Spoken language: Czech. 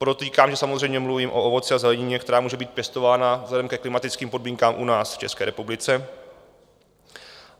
Podotýkám, že samozřejmě mluvím o ovoci a zelenině, která může být pěstována vzhledem ke klimatickým podmínkám u nás v České republice.